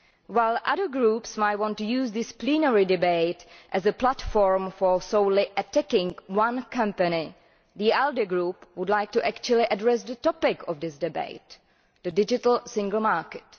While other groups might want to use this plenary debate as a platform for solely attacking one company, the ALDE Group would like to actually address the topic of this debate the Digital Single Market.